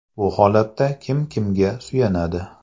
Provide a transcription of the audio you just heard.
Bu holatda kim kimga suyanadi?